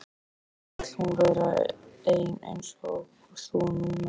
Hauströkkrið skreið eftir stofugólfinu og færðist yfir húsgögnin.